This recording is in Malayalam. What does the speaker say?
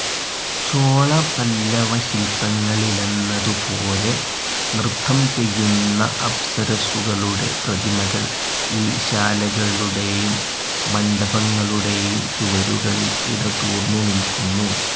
ചോളപല്ലവശില്പങ്ങളിലെന്നതുപോലെ നൃത്തംചെയ്യുന്ന അപ്സരസ്സുകളുടെ പ്രതിമകൾ ഈ ശാലകളുടെയും മണ്ഡപങ്ങളുടെയും ചുവരുകളിൽ ഇടതൂർന്നുനില്ക്കുന്നു.